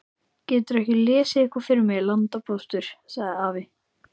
Geturðu ekki lesið eitthvað fyrir mig, landpóstur, sagði afi.